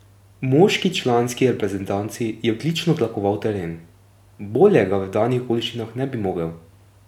Moški članski reprezentanci je odlično tlakoval teren, bolje ga v danih okoliščinah ne bi mogel.